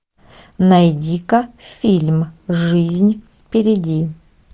найди ка фильм жизнь впереди